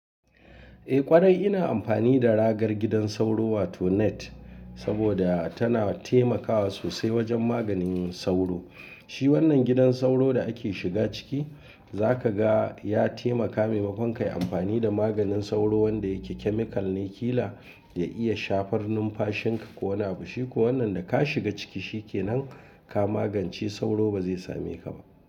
Eh ƙwarai ina amfani da ragar gidan sauro wato net saboda tana taimakawa sosai wajen maganin sauro. Shi wannan gidan sauro da ake shiga ciki za ka ga ya taimaka maimakon ka yi amfani da maganin sauro wanda ya ke chemical na killer ya iya shafar numfashin ka ko wani abu. Shi ko wannan da ka shiga ciki shi ke nan ka magance sauro ba zai same ka ba.